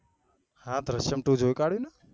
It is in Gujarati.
હા દ્રીશ્ય્મ ટુ જોયી કાડ્યું ને